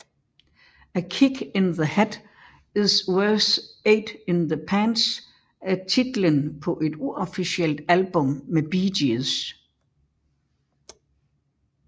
A Kick In The Head Is Worth Eight In The Pants er titlen på et uofficielt album med Bee Gees